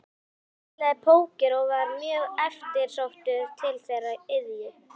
Hann spilaði póker og var mjög eftirsóttur til þeirrar iðju.